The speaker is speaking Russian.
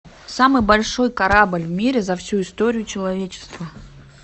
самый большой корабль в мире за всю историю человечества